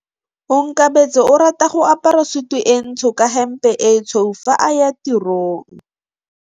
Onkabetse o rata go apara sutu e ntsho ka hempe e tshweu fa a ya tirong.